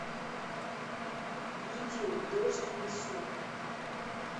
видео дождь в лесу